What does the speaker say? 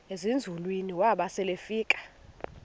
ezinzulwini waba selefika